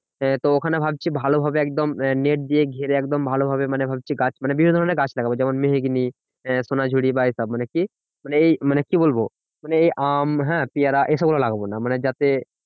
তো ওখানে ভাবছি ভালোভাবে একদম আহ net দিয়ে ঘিরে একদম ভালোভাবে মানে ভাবছি গাছ মানে বিভিন্ন ধরণের গাছ লাগাবো। যেমন মেহগিনি আহ সোনাঝুরি বা এইসব মানে কি মানে এই মানে কি বলবো মানে আম হ্যাঁ পিয়ারা এসব গুলো লাগাবো না। মানে যাতে